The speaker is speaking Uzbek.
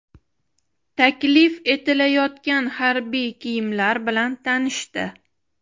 Taklif etilayotgan harbiy kiyimlar bilan tanishdi.